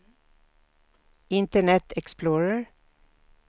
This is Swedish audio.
internet explorer